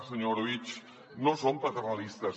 senyor orobitg no som paternalistes